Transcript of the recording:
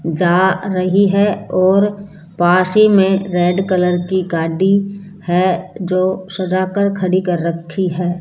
जा रही है और पास ही में रेड कलर की गाड़ी है जो सजा कर खड़ी कर रखी है।